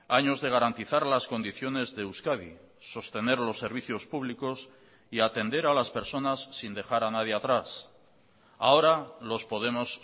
años de garantizar las condiciones de euskadi sostener los servicios públicos y atender a las personas sin dejar a nadie atrás ahora los podemos